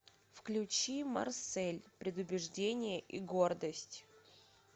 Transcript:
включи марсель предубеждение и гордость